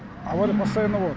авария постоянно болады